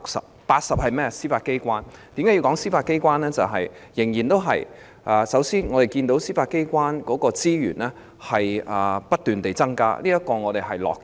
總目80是司法機構，我要談論司法機構的原因是，首先，我們看到司法機構的資源不斷增加，這是我們樂見的。